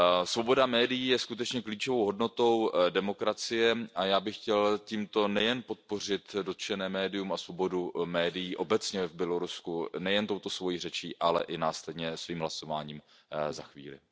Svoboda médií je skutečně klíčovou hodnotou demokracie a já bych chtěl tímto podpořit dotčené médium a svobodu médií obecně v Bělorusku nejen touto svojí řečí, ale i následně svým hlasováním za chvíli.